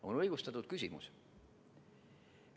See on õigustatud küsimus.